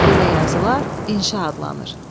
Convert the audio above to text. Belə yazılar inşa adlanır.